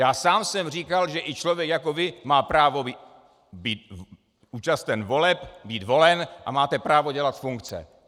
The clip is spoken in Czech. Já sám jsem říkal, že i člověk jako vy má právo být účasten voleb, být volen a máte právo dělat funkce.